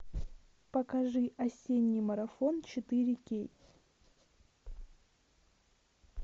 покажи осенний марафон четыре кей